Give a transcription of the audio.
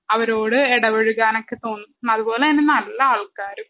അവരോട് എടപെഴുകാനൊക്കെ തോന്നും അത്പോലെന്നെ നല്ല ആൾക്കാരും